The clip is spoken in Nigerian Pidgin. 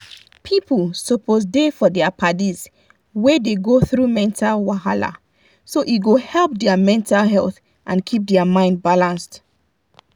people suppose da for dia padis wey dey go through mental wahala so e go help their mental health and keep their mind balanced.